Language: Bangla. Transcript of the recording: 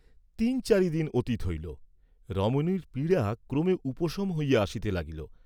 তিন চারি দিন অতীত হইল, রমণীর পীড়া ক্রমে উপশম হইয়া আসিতে লাগিল।